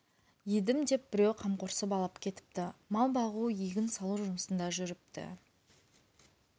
едім деп біреу қамқорсып алып кетіпті мал бағу егін салу жұмысында жүріпті